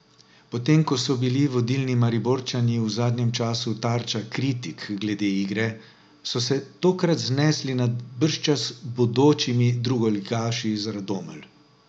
Potem ko so bili vodilni Mariborčani v zadnjem času tarča kritik glede igre, so se tokrat znesli nad bržčas bodočimi drugoligaši iz Radomelj.